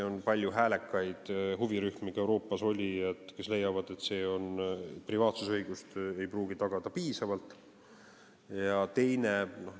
On palju häälekaid huvirühmi, neid oli ka Euroopas, kes leiavad, et see ei pruugi privaatsusõigust piisavalt tagada.